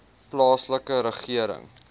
plaaslike regering